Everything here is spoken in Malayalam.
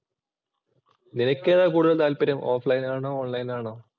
നിനക്ക് ഏതാ കൂടുതൽ താൽപര്യം ഓഫ് ലൈന്‍ ആണോ? ഓണ്‍ ലൈന്‍ ആണോ?